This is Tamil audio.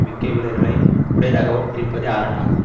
மிக்க வீரர்களை உடையதாகவும் இருப்பதே அரண் ஆகும்